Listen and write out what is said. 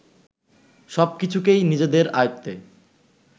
সব কিছুকেই নিজেদের আয়ত্তে